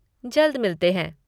जल्द मिलते हैं।